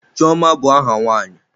Chioma bụ aha nwa nwanyi.